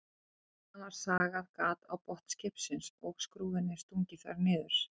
Síðan var sagað gat á botn skipsins og skrúfunni stungið þar niður.